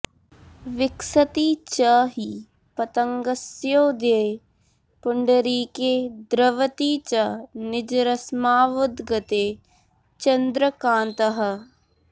विकसति च हि पतङ्गस्योदये पुण्डरीके द्रवति च निजरश्मावुद्गते चन्द्रकान्तः